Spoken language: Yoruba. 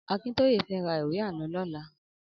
Akintoye fè rà ìwé àlõ lòlà